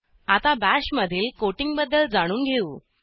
आता बाश मधील कोटिंगबद्दल जाणून घेऊ